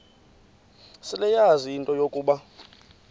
seleyazi into yokuba